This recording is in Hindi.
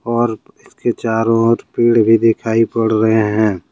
और इसके चारों ओर पेड़ भी दिखाई पड़ रहे हैं।